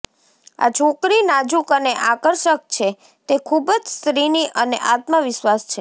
આ છોકરી નાજુક અને આકર્ષક છે તે ખૂબ જ સ્ત્રીની અને આત્મવિશ્વાસ છે